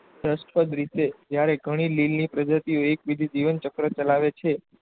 રસપ્રદ રીતે, જ્યારે ઘણી લીલની પ્રજાતિઓ એકવિધ જીવનચક્ર ચલાવે છે.